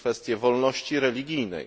kwestie wolności religijnej.